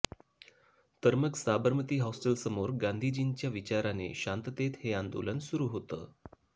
तर मग साबरमती हॉस्टेलसमोर गांधीजींच्या विचाराने शांततेत हे आंदोलन सुरु होतं